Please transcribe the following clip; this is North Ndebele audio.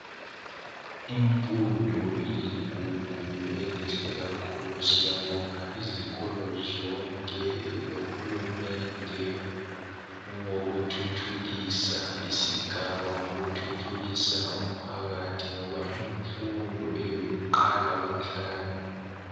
Imfundo iligugu elihle kakhulu siyabongaizikolo zonke lohulumende owokuthuthukisa isigaba ngokuthuthukisa umphakathi ngoba imfundo iyikuqala kwenhlakanipho.